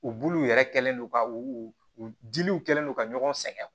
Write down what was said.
U buluw yɛrɛ kɛlen do ka u u diliw kɛlen don ka ɲɔgɔn sɛgɛn